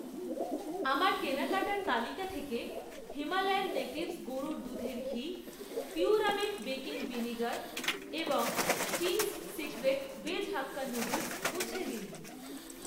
আমার কেনাকাটার তালিকা থেকে হিমালয়ান নেটিভস গরুর দুধের ঘি, পিউরামেট বেকিং ভিনিগার এবং Ching's Secret veg hakka noodles মুছে দিন।